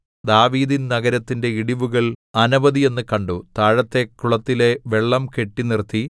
ദാവീദിൻ നഗരത്തിന്റെ ഇടിവുകൾ അനവധിയെന്നു കണ്ടു താഴത്തെ കുളത്തിലെ വെള്ളം കെട്ടി നിർത്തി